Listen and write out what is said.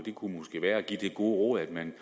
kunne måske være at give det gode råd at man